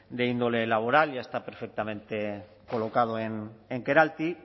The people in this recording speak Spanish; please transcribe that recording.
de índole laboral ya está perfectamente colocado en keralty